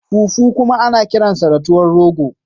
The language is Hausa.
Fufu kuma ana kiransa da tuwan rogo